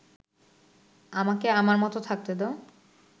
আমাকে আমার মত থাকতে দাও